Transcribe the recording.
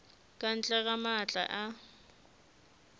ka ntle ga maatla a